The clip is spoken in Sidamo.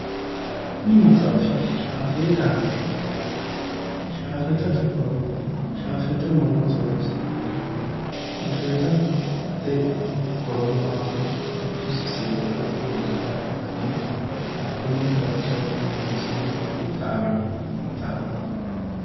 Kuni maxaafi shafeetanke yaanno shafeeta mamoote horonsi'nanniro shafeetate horo maatiro giddosi seekke amadinoha ikkanna hatttono baxsio yaannisinni qixxaawino maxaafaati.